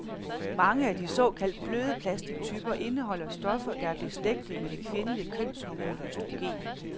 Mange af de såkaldt bløde plastictyper indeholder stoffer, der er beslægtede med det kvindelige kønshormon østrogen.